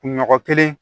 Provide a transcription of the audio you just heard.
Kunɲɔgɔn kelen